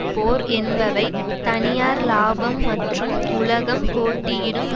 போர் என்பவை தனியார் இலாபம் மற்றும் உலகம் போட்டியிடும்